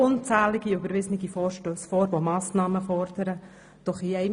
Unzählige Vorstösse mit der Forderung nach Massnahmen wurden überwiesen.